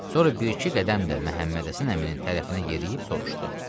Sonra bir-iki qədəm də Məhəmməd Həsən əminin tərəfinə yeriyib soruşdu.